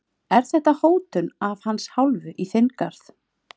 Er þetta hótun af hans hálfu í þinn garð?